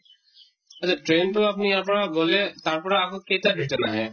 train টো আপুনি ইয়াৰ পৰা গʼলে তাৰ পৰা আকৌ কেইটাত return আহে?